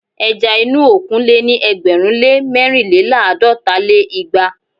ẹja inú òkun lé ní ẹgbẹ̀rún lé mẹ́rìnléláàdọ́ta lé igba